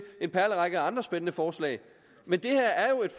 en perlerække af andre spændende forslag men det her er jo et